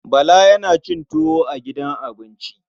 Bala yana cin tuwo a gidan abinci.